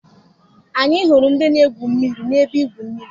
Anyị hụrụ ndị na-egwu mmiri n'ebe igwu mmiri.